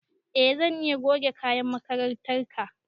E zan iya goge kayan makarantar ka